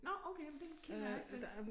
Nåh okay jamen den kender jeg ikke den